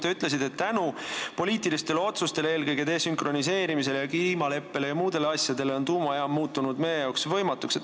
Te ütlesite, et poliitiliste otsuste, eelkõige desünkroniseerimise ja kliimaleppe ja muude asjade tõttu on tuumajaama rajamine muutunud meil võimatuks.